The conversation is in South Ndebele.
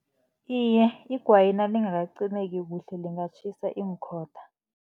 Iye, igwayi nalingakacimeki kuhle lingatjhisa iinkhotha.